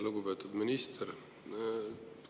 Lugupeetud minister!